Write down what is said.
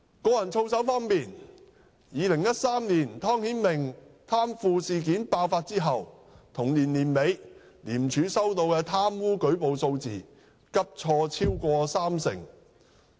個人操守方面 ，2013 年湯顯明貪腐事件爆發後，同年年底，廉署收到的貪污舉報數字急挫超過三成。